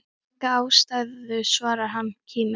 Enga ástæðu svarar hann kíminn.